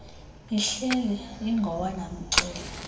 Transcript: ihleli ingowona mceli